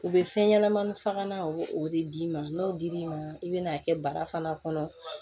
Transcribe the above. U bɛ fɛn ɲɛnɛmani fagalan u bo o de d'i ma n'o dir'i ma i bɛna'a kɛ bara fana kɔnɔ